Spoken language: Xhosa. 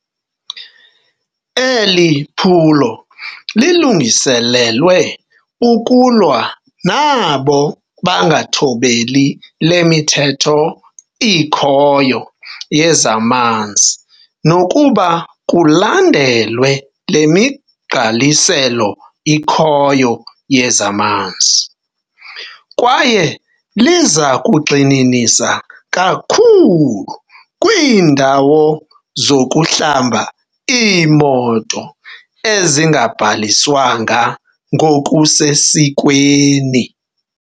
Eli phulo lilungiselelwe ukulwa nabo bangathobeli le mithetho ikhoyo yezamanzi nokuba kulandelwe le migqaliselo ikhoyo yezamanzi, kwaye liza kugxininisa kakhulu kwiindawo zokuhlamba iimoto ezingabhaliswanga ngokusesikweni.